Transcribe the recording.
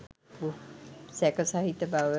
සැකසහිත බව